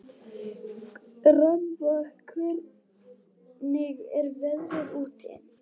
Rannva, hvernig er veðrið úti?